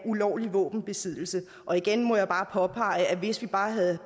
ulovlig våbenbesiddelse og igen må jeg påpege at hvis vi bare havde